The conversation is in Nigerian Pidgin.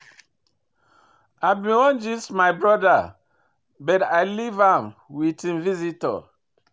I bin wan gist wit my broda but I leave am wit im visitor.